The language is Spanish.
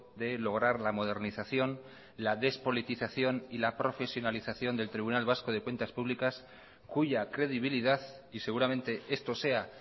de lograr la modernización la despolitización y la profesionalización del tribunal vasco de cuentas públicas cuya credibilidad y seguramente esto sea